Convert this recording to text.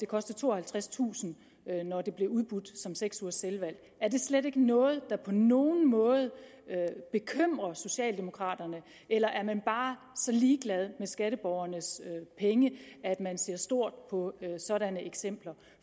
kostede tooghalvtredstusind kr når det blev udbudt som seks ugers selvvalgt er det slet ikke noget der på nogen måde bekymrer socialdemokraterne eller er man bare så ligeglad med skatteborgernes penge at man ser stort på sådanne eksempler